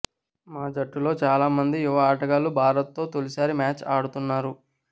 మా జట్టులో చాలా మంది యువఆటగాళ్లు భారత్తో తొలిసారి మ్యాచ్ ఆడుతున్నారు